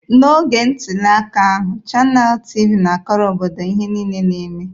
N'oge ntuli aka ahụ, Chanel TịVị na-akọrọ obodo ihe niile na-eme.